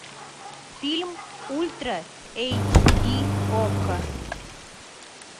фильм ультра эйч ди окко